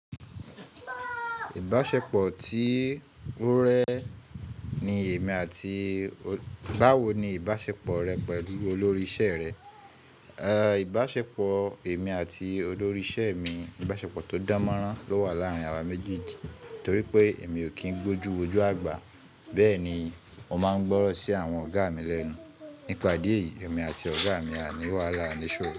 Ìbáṣepọ̀ tí ó rẹ́ ni èmi àti. Báwo ni ìbáṣepọ̀ rẹ pẹ̀lú olórí iṣẹ́ rẹ? Ẹ̀, ìbáṣepọ̀ èmi àti olórí iṣẹ́ mi, ìbáṣepọ̀ tó dámọ́rán ló wà láàárín àwa méjèèjì torí pé èmi ò kí ń gbójú wojú àgbà. Bẹ́ẹ̀ ni, mo máa ń gbọ́rọ̀ sí àwọn ọ̀gá mi lẹ́nu. Nípa idí ẹ̀yìí, èmi àti ọ̀gá mi a ní wàhálà a ní iṣoro.